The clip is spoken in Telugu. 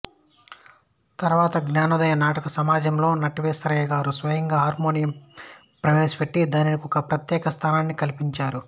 తరువాత జ్ఞానోదయ నాటక సమాజంలో నటేశయ్యగారు స్వయంగా హార్మోనియం ప్రవేశపెట్టి దానికొక ప్రత్యేక స్థానాన్ని కల్పించారు